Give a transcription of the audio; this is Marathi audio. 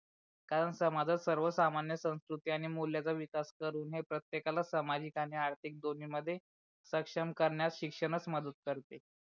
कारण समाजात सर्व सामान्य संस्कृति आणि मूल्याचा विकाश करून हे प्रतेकला सामाजिक आणि आर्थिक दोन्ही मध्ये सक्षम करण्यात शिक्षणच मदत कारते.